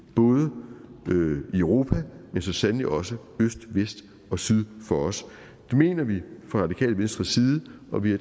både i europa men så sandelig også øst vest og syd for os det mener vi fra radikale venstres side og vi